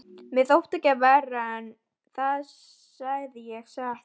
Mér þótti það ekki verra, það segi ég satt.